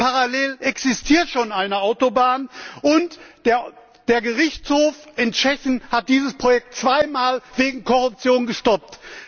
Parallel existiert schon eine Autobahn und der Gerichtshof in Tschechien hat dieses Projekt zweimal wegen Korruption gestoppt.